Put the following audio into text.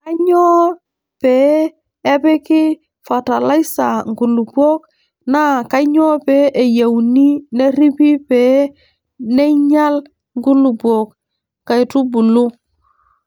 Kainyioo pee epiki fatalaisa nkulupuok naa kainyioo pee eyieuni nerripi pee neinyial nkulupuok I nkaitubulu.